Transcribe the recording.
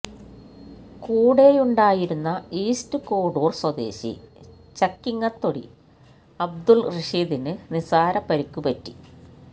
കൂടെയുണ്ടായിരുന്ന ഈസ്റ്റ് കോഡൂര് സ്വദേശി ചക്കിങ്ങത്തൊടി അബ്ദുല് റഷീദിന് നിസാര പരിക്ക് പറ്റി